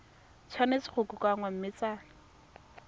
tshwanetse go kokoanngwa mme tsa